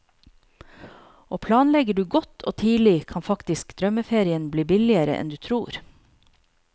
Og planlegger du godt og tidlig, kan faktisk drømmeferien bli billigere enn du tror.